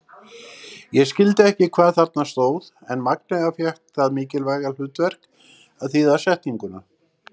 Ég skildi ekki hvað þarna stóð en Magnea fékk það mikilvæga hlutverk að þýða setninguna.